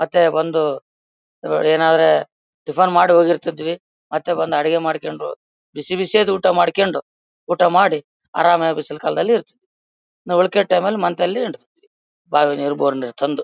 ಮತ್ತೆ ಒಂದು ಏನಾದ್ರೆ ಟಿಫನ್ ಮಾಡ್ಕೊಂಡು ಹೋಗಿರ್ತಿದ್ವಿ ಮತ್ತೆ ಬಂದು ಅಡಿಗೆ ಮಾಡ್ಕೊಂಡು ಬಿಸಿಬಿಸಿಯಾದ ಊಟ ಮಾಡ್ಕೊಂಡು ಊಟ ಮಾಡಿ ಆರಾಮಾಗಿ ಬಿಸಿಲು ಕಾಲದಲ್ಲಿ ಇರ್ತೀವಿ. ನಾವು ಉಳಿಕೆ ಟೈಮ್ ಲಿ ಮಂತ್ ಲ್ಲಿ ಬಾವಿ ನೀರು ಬೋರ್ ನೀರು ತಂದು.